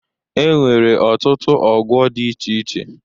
E nwere ọtụtụ ọgwọ dị iche iche.